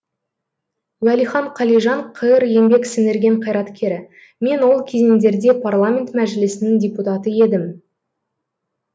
уәлихан қалижан қр еңбек сіңірген қайраткері мен ол кезеңдерде парламент мәжілісінің депутаты едім